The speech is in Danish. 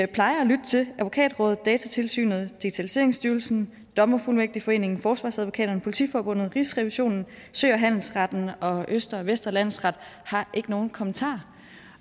plejer at lytte til advokatrådet datatilsynet digitaliseringsstyrelsen dommerfuldmægtigforeningen forsvarsadvokater politiforbundet rigsrevisionen sø og handelsretten og østre og vestre landsret har ikke nogen kommentarer